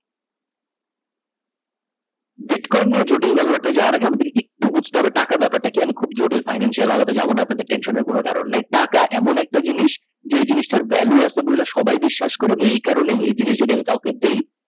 Bitcoin নিয়ে জটিল কথা বাত্রা যাওয়ার আগে আমাদের একটু বুজতে হবে টাকা ব্যাপার টা কি আমি খুব জটিল fancial আলাপে আমি যাবো না আপনাদের tension এর কোনো কারণ নেই টাকা এমন একটা জিনিস যে জিনিসটার ভ্যালু আছে বলে সবাই বিশ্বাস করে এই কারণেই এই জিনিস কাউকেও দেই।